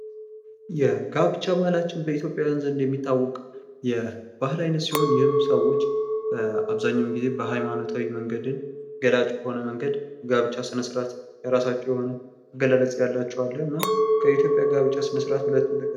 የጋብቻ ባህላችን በኢትዮጵያዉያን ዘንድ የሚታወቅ የባህል አይነት ሲሆን ይኽም ሰዎች አብዛኛዉን ጊዜ በሀይማኖት መንገድን ገላጭ በሆነ መንገድ ጋብቻ ስነስርዓት የራሳቸዉ የሆነ አገላለፅ ያላቸዉ አለ። እና ከኢትዮጵያ የጋብቻ ስነ ስርዓት ዉስጥ ሁለቱን ጥቀስ?